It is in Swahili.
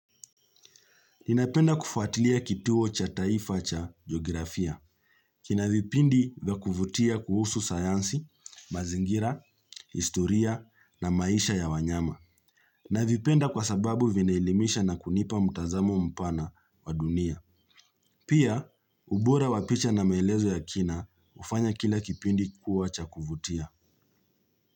Ninapenda kufuatilia kituo cha taifa cha geografia. Kina vipindi vya kuvutia kuhusu sayansi, mazingira, historia na maisha ya wanyama. Navipenda kwa sababu vinaelimisha na kunipa mtazamo mpana wa dunia. Pia, ubora wa picha na melezo ya kina, hufanya kila kipindi kuwa cha kuvutia.